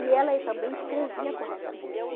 E ela também escrevia corretamente.